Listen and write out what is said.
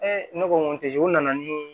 ne ko n ko u nana nii